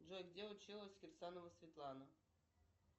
джой где училась кирсанова светлана